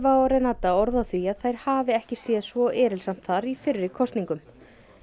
Ewa og Renata orð á því að þær hafi ekki séð svo erilsamt þar í fyrri kosningum